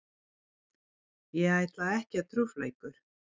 Ég ætla ekki að trufla ykkur.